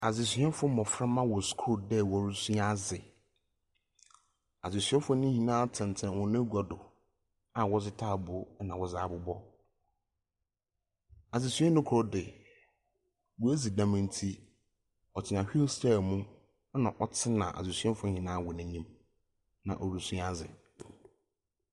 Adesuafo mmɔframma wɔ sukuu mu resua adze. Adesuafo no nyinaa tete wɔn agua do a wɔdze ntaaboo na wɔde abobɔ. Adesuani koro deɛ w'adi dɛm nti wɔtena whil kyair mu na ɔtena adesuafo wɔn nyinaa anim. Na ɔresua adze.